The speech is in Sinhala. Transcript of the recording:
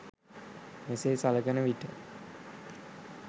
මෙසේ සලකනවිට